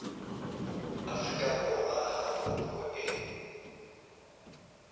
afrika borwa ha kopo e